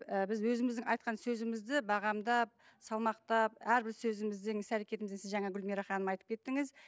ііі біз өзіміздің айтқан сөзімізді бағамдап салмақтап әрбір сөзімізден іс әрекетімізден сіз жаңа гүлмира ханым айтып кеттіңіз